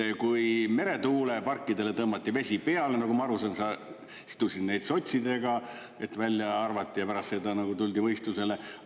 Et kui meretuuleparkidele tõmmati vesi peale, nagu ma aru saan, sa sidusid neid sotsidega, et välja arvati ja pärast seda nagu tuldi mõistusele.